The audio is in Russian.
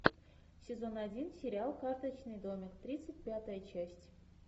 сезон один сериал карточный домик тридцать пятая часть